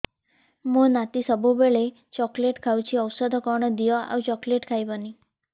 ମୋ ନାତି ସବୁବେଳେ ଚକଲେଟ ଖାଉଛି ଔଷଧ କଣ ଦିଅ ଆଉ ଚକଲେଟ ଖାଇବନି